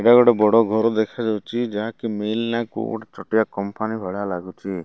ଏଇଟା ଗୋଟେ ବଡ଼ ଘର ଦେଖାଯାଉଛି ଯାହାକି ମେଲ୍ ନାଁ କୋଉ ଗୋଟେ ଛୋଟିଆ କମ୍ପାନୀ ଭଳିଆ ଲାଗୁଚି।